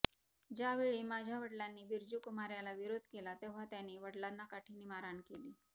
ज्यावेळी माझ्या वडिलांनी बिरजू कुमार याला विरोध केला तेव्हा त्याने वडिलांना काठीने मारहाण केली